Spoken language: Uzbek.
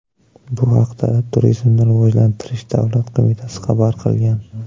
Bu haqda Turizmni rivojlantirish davlat qo‘mitasi xabar qilgan .